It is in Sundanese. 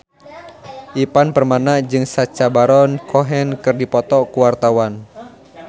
Ivan Permana jeung Sacha Baron Cohen keur dipoto ku wartawan